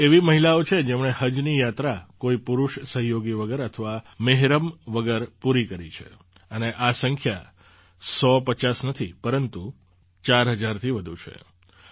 તેઓ એવી મહિલાઓ છે જેમણે હજની યાત્રા કોઈ પુરુષ સહયોગી વગર અથવા મેહરમ વગર પૂરી કરી છે અને આ સંખ્યા સોપચાસ નથી પરંતુ ચાર હજારથી વધુ છે